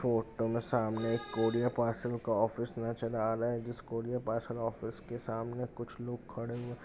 Photo में सामने एक कूरियर पार्सल का ऑफिस का नजर आ रहा है। इस कूरियर पार्सल ऑफिस के सामने कुछ लोग खड़े हुए।